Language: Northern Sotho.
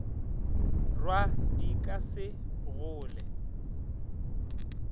rwa di ka se hole